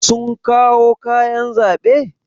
Sun kawo kayan zaɓe?